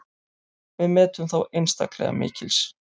Við metum þá einstaklega mikils.